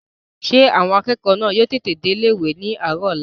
Ṣé àwọn akẹ́kọ̀ọ́ náà yóò tètè dé ilé-ìwé ní àárọ̀ ọ̀la?